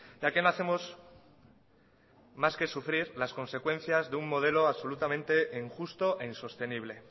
ya que no hacemos más que sufrir las consecuencias de un modelo absolutamente injusto e insostenible